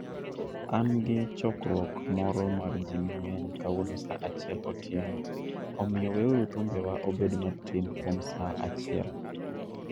An gi chokruok moro mar ji mang'eny kawuono sa achiel otieno, omiyo weuru thumbewa obed matin kuom sa achiel.